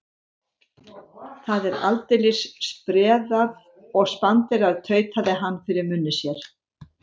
Það er aldeilis spreðað og spanderað, tautaði hann fyrir munni sér.